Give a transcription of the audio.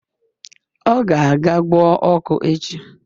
Ọ ga-aga gwọọ ọkụ echi